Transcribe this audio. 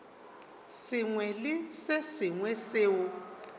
sengwe le se sengwe seo